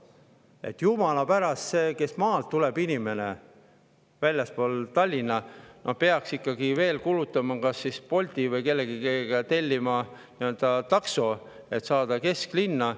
Et kui inimene tuleb maalt, väljastpoolt Tallinna, siis jumala pärast peaks ikka kulutama veel Bolti või millegi peale, tellima takso, et saada kesklinna.